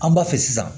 An b'a fɛ sisan